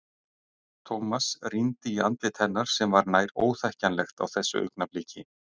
Thomas rýndi í andlit hennar sem var nær óþekkjanlegt á þessu augnabliki.